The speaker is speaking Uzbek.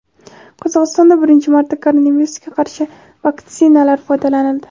Qozog‘istonda birinchi marta koronavirusga qarshi vaktsinadan foydalanildi.